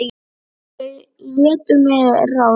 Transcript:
Og þau létu mig ráða.